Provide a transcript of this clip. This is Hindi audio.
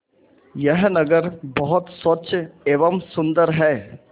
यह नगर बहुत स्वच्छ एवं सुंदर है